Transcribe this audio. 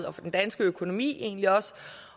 og for den danske økonomi egentlig også